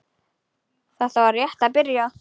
Þetta er rétt að byrja.